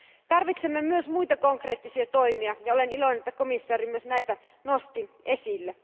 Tarvitsemme myös muita konkreettisia toimia, ja olen iloinen, että komissaari nosti myös näitä esille.